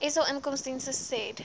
sa inkomstediens said